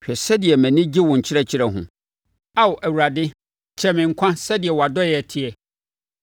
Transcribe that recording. Hwɛ sɛdeɛ mʼani gye wo nkyerɛkyerɛ ho; Ao Awurade, kyɛe me nkwa so sɛdeɛ wʼadɔeɛ teɛ.